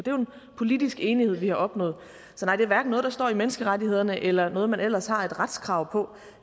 politisk enighed vi har opnået så nej det er hverken noget der står i menneskerettighederne eller noget man ellers har et retskrav på